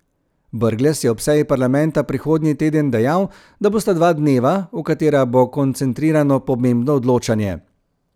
Brglez je o seji parlamenta prihodnji teden dejal, da bosta dva dneva, v katera bo koncentrirano pomembno odločanje.